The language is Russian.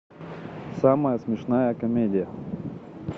самая смешная комедия